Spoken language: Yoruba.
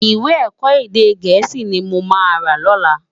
Iwè èkò édé gèési ni mó má ló lòlá